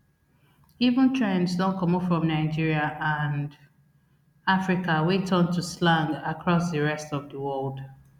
even trends don comot from nigeria and africa wey turn to slang across di rest of di world